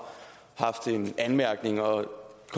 at vide